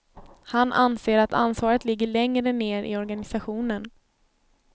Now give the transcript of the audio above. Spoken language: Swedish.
Han anser att ansvaret ligger längre ner i organisationen.